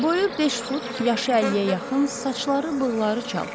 Boyu 5 fut, yaşı 50-yə yaxın, saçları, bığları çal.